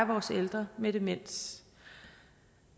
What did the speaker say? vores ældre med demens